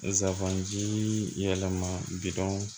Nsaban jii yɛlɛma bidɔn